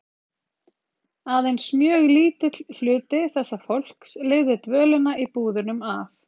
Aðeins mjög lítill hluti þessa fólks lifði dvölina í búðunum af.